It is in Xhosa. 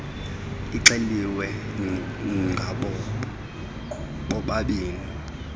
ixeliwe ngabo bobabini